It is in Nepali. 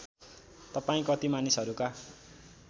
तपाईँ कति मानिसहरूका